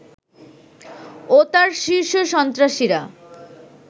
ও তার শীর্ষ সন্ত্রাসীরা